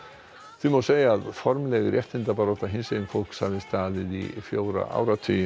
því má segja að formleg réttindabarátta hinsegin fólks hafi staðið í fjóra áratugi